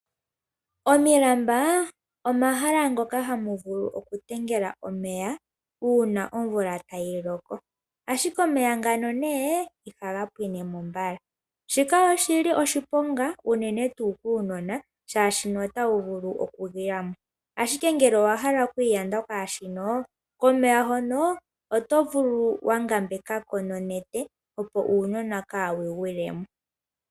Omilamba omahala ngoka hamu vulu oku tengela omeya uuna omvula tayi loko ashike omeya ngano ihaga pwine mo mbala shika oshili oshiponga unene tuu kunona shashi otwu vulu oku gwilamo ashike ngele owahala oku iyanda kwashino komeya hono oto vulu oku ngambekako nonete pop uunona kawu gwile mo.